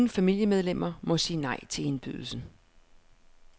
Ingen familiemedlemmer må sige nej til indbydelsen.